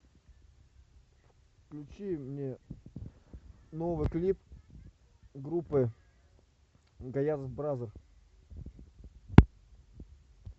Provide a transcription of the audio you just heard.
включи мне новый клип группы гаязов бразер